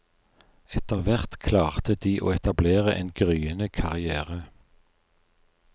Etter hvert klarte de å etablere en gryende karrière.